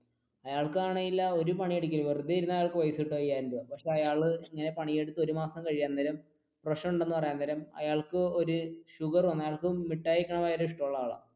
അയാൾക്കാണെങ്കിൽ ഒരു പണിയും എടുക്കില്ല വെറുതെ ഇരുന്നാൽ അയാൾക്ക് പൈസ കിട്ടും അയ്യായിരം രൂപ അപ്പൊ അയാൾ ഇങ്ങനെ പണിയെടുത്തു ഒരു മാസം കഴിയാൻ നേരം പ്രശ്നം ഉണ്ടെന്ന് പറയാൻ നേരം അയാൾക്ക് ഒരു ഷുഗർ വന്നു അയ്യാൾക്ക് മിട്ടായി കഴിക്കാൻ ഭയങ്കര ഇഷ്ടമുള്ള ആളാണ്.